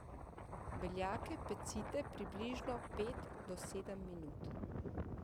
Beljake pecite približno pet do sedem minut.